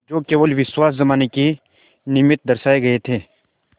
जो केवल विश्वास जमाने के निमित्त दर्शाये गये थे